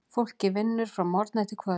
Fólkið vinnur frá morgni til kvölds.